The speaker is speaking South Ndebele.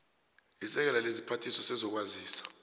isekela lesiphathiswa sezokwazisa